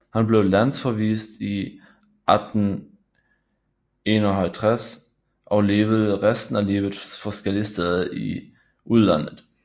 Han blev landsforvist i 1851 og levede resten af livet forskellige steder i udlandet